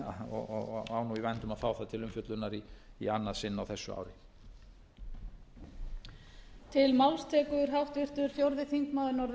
og á nú í vændum að fá það til umfjöllunar í annað sinn á þessu ári